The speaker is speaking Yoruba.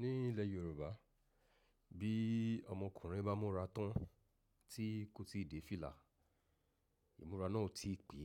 Ní ilẹ̀ Yorùbá bí ọmọkùnrin bá múra tán tí kò ti dé fìlà, ìmúra náà ò tí pè.